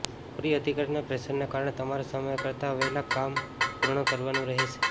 ઉપરી અધિકારીના પ્રેસરને કારણે તમારે સમય કરતા વહેલા કામ પૂર્ણ કરવાનું રહેશે